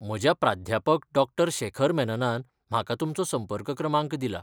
म्हज्या प्राध्यापक डॉ शेखर मेननान म्हाका तुमचो संपर्क क्रमांक दिला.